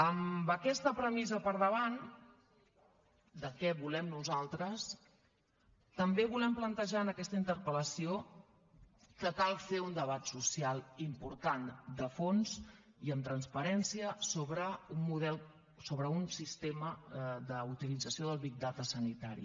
amb aquesta premissa per davant de què volem nosaltres també volem plantejar en aquesta interpel·lació que cal fer un debat social important de fons i amb transparència sobre un sistema d’utilització del big data sanitari